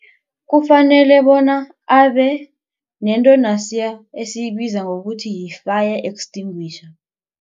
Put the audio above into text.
Kufanele bona abe nento nasiya esiyibiza ngokuthi yi-fire extinguisher.